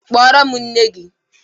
Kpọrọ m nne gi!